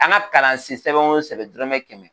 An ga kalan si sɛbɛn sɛbɛn dɔrɔmɛ kɛmɛ